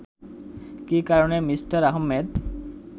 কি কারণে মিস্টার আহমেদ